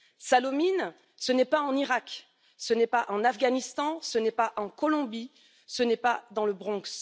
Sallaumines, ce n'est pas en Irak, ce n'est pas en Afghanistan, ce n'est pas en Colombie, ce n'est pas dans le Bronx.